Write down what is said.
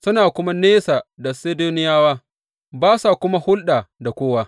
Suna kuma nesa da Sidoniyawa, ba sa kuma hulɗa da kowa.